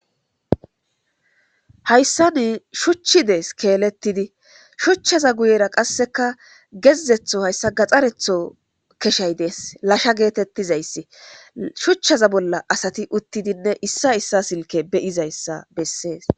Hayasani shuchi dees keeletidi. Shuchazza guyera qasseka gezetho haysa gaxxaretho keshay dees. Lasha geetetizaysi. Shuchaza bolla asati utidinne issay issa silka be'izaysa besees.